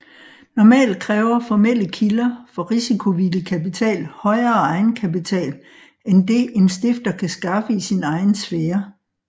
Normalt kræver formelle kilder for risikovillig kapital højere egenkapital end det en stifter kan skaffe i sin egen sfære